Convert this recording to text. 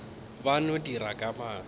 ba no dira ka maatla